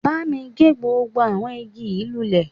Bámi gé gbogbo àwọn igi yìí lulẹ̀